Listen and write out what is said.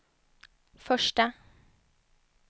första